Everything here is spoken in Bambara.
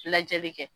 Lajɛli kɛ